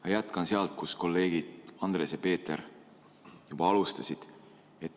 Ma jätkan sealt, kus kolleegid Andres ja Peeter alustasid.